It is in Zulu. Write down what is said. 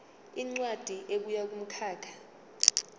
incwadi ebuya kumkhakha